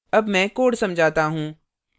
अब मैं code समझाता हूँ